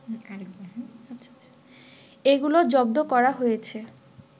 এগুলো জব্দ করা হয়েছে